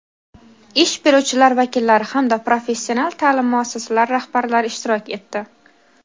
ish beruvchilar vakillari hamda professional ta’lim muassasalari rahbarlari ishtirok etdi.